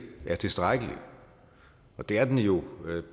er tilstrækkelig og det er den jo